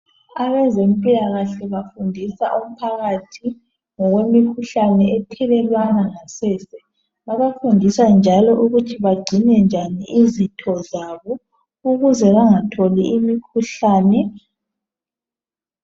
abezempilakahle bafundisa umphakathi ngemikhuhlane ethelelwana ngasese bebafundisa njalo ukuthi begcine njani izitho zabo ukuze bengatholi imikhuhlane